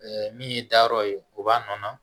min ye dayɔrɔ ye o b'a nɔɔni